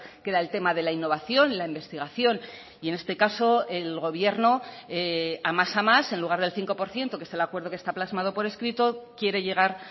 que era el tema de la innovación la investigación y en este caso el gobierno a más a más en lugar del cinco por ciento que es el acuerdo que está plasmado por escrito quiere llegar